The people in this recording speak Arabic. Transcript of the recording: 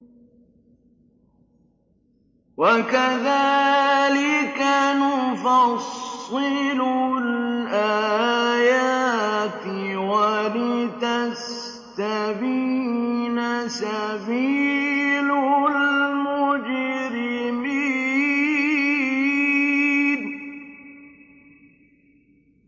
وَكَذَٰلِكَ نُفَصِّلُ الْآيَاتِ وَلِتَسْتَبِينَ سَبِيلُ الْمُجْرِمِينَ